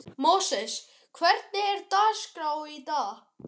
Móses, hvernig er dagskráin í dag?